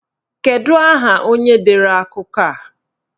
Kedụ aha onye dere akụkọ a?